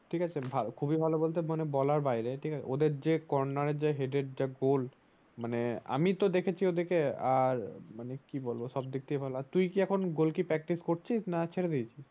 ঠিক অছে খুব ই ভালো বলতে বলার বাইরে ওদের যে কর্নার হেডের যে গোল মানে আমি তো দেখছি ওদের কে আর মানে কি বলবো সব দিক থেকে ভালো আর তুই কি এখন গোলকি practice করছিস না ছেড়ে দিয়েছিস